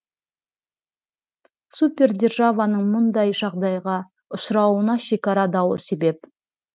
супер державаның мұндай жағдайға ұшырауына шекара дауы себеп